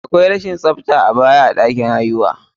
Akwai rashin tsafta a baya a ɗakin haihuwa.